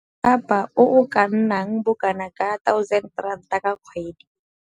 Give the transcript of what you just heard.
Thapa o o ka nnang bokanaka ka R1 000 ka kgwedi.